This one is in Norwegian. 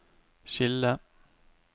skille